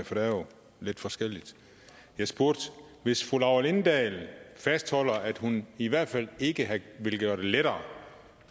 for det er jo lidt forskelligt jeg spurgte hvis fru laura lindahl fastholder at hun i hvert fald ikke vil gøre det lettere